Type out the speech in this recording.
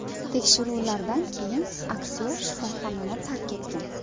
Tekshiruvlardan keyin aktyor shifoxonani tark etgan.